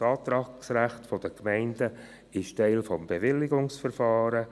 Das Antragsrecht der Gemeinden ist Teil des Bewilligungsverfahrens.